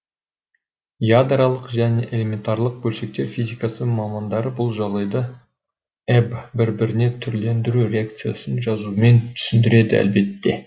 ядролық және элементарлық бөлшектер физикасы мамандары бұл жағдайды эб бір біріне түрлену реакцияларын жазумен түсіндіреді әлбетте